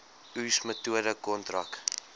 oes metode kontrak